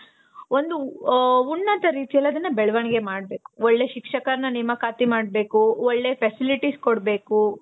ಒಂದು ಉನ್ನತ ರೀತಿ ಅಲ್ಲಿ ಅದುನ್ನ ಬೆಳವಣಿಗೆ ಮಾಡ್ಬೇಕು. ಒಳ್ಳೆ ಶಿಕ್ಷಕರ್ನ ನೇಮಕಾತಿ ಮಾಡ್ಬೇಕು. ಒಳ್ಳೆ facilities ಕೊಡ್ಬೇಕು.